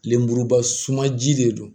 Lemuruba sumanji de don